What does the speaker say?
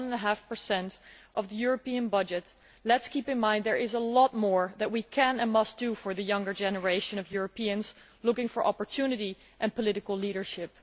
1.5 of the European budget, let us keep in mind that there is a lot more that we can and must do for the younger generation of Europeans looking for opportunity and political leadership.